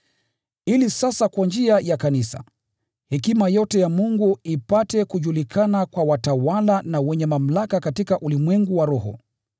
Ili sasa kwa njia ya Kanisa, hekima yote ya Mungu ipate kujulikana kwa watawala na wenye mamlaka katika ulimwengu wa roho,